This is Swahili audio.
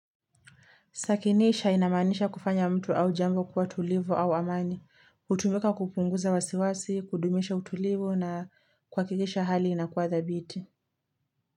Sakinisha inamanisha kufanya mtu au jambo kuwa tulivu au amani, utumika kupunguza wasiwasi, kudumisha utulivu na kuwakikisha hali inakuwa thabiti.